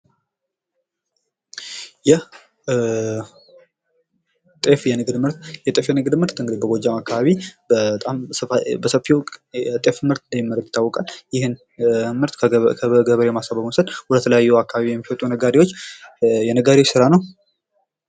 የጤፍ የንግድ ምርት እንግዲህ በጎጃም አካባቢ በጣም በሰፊው የጤፍ ምርጥ እንደሚመረት ይታወቃል ይህን ምርት ወደ ተለያዩ ቦታዎች ወስዶ የመሸጥ የነጋዴው ስራ ነው።